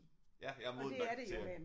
Ja jeg er moden nok til at